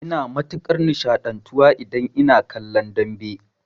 Ina matukar nishaɗantuwa idan ina kallon dambe